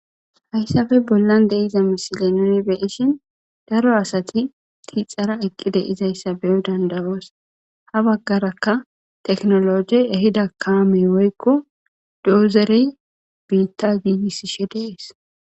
Haysappe billabongs Dee'za misille nuni being'shin daro assati sintara eqqidi beo' dandao's habagarakka tekinolojje ehida kamme woyko dozere biththa gigisishe Dee's